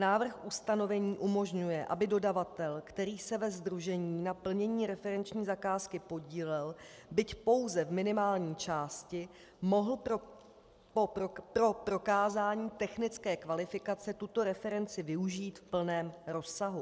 Návrh ustanovení umožňuje, aby dodavatel, který se ve sdružení na plnění referenční zakázky podílel, byť pouze v minimální části, mohl pro prokázání technické kvalifikace tuto referenci využít v plném rozsahu.